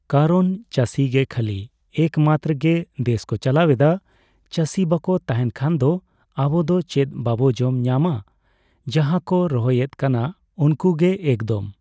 ᱠᱟᱨᱚᱱ ᱪᱟᱹᱥᱤ ᱜᱮ ᱠᱷᱟᱞᱤ , ᱮᱠᱢᱟᱛᱨᱚ ᱜᱮ ᱫᱮᱥ ᱠᱚ ᱪᱟᱞᱟᱣᱮᱫᱟ ᱾ ᱪᱟᱹᱭ ᱵᱟᱠᱚ ᱛᱟᱸᱦᱮᱱ ᱠᱷᱟᱱ ᱫᱚ ᱟᱵᱚ ᱫᱚ ᱪᱮᱫ ᱵᱟᱵᱚ ᱡᱚᱢ ᱧᱟᱢᱼᱟ ᱡᱟᱸᱦᱟᱭ ᱠᱚ ᱨᱚᱦᱚᱭ ᱮᱫ ᱠᱟᱱᱟ ᱩᱱᱠᱩ ᱜᱮ ᱮᱠᱫᱚᱢ